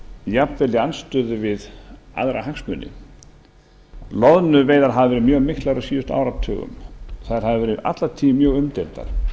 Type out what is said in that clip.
í andstöðu við aðra hagsmuni loðnuveiðar hafa verið mjög miklar á síðustu áratugum þær hafa verið alla tíð mjög umdeildar